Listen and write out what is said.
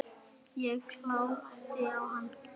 Ég glápti á hana.